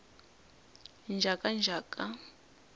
njhakanjhaka